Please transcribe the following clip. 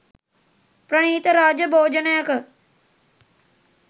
ප්‍රණීත රාජ භෝජනයක